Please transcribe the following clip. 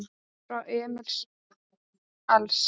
Frá Emil Als